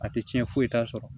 A tɛ tiɲɛ foyi t'a sɔrɔ